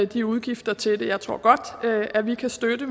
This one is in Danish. de udgifter til det jeg tror godt at vi kan støtte